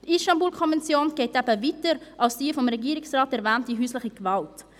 Die Istanbul-Konvention geht eben weiter als die vom Regierungsrat erwähnte häusliche Gewalt.